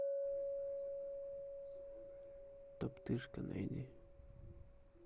топтыжка найди